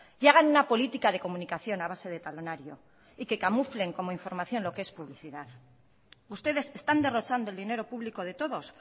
y hagan una política de comunicación a base de talonario y que camuflen como información lo que es publicidad ustedes están derrochando el dinero público de todos